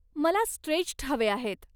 मला स्ट्रेच्ड हवे आहेत.